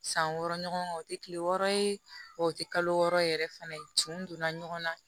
San wɔɔrɔ ɲɔgɔn o tɛ kile wɔɔrɔ ye o tɛ kalo wɔɔrɔ yɛrɛ fana cin don na ɲɔgɔnna